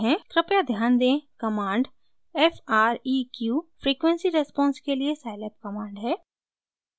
कृपया ध्यान दें command f r e q frequency response के लिए scilab कमांड है